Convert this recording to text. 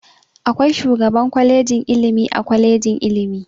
Akwai shugaban kwalejin ilimi a kwalejin ilimi.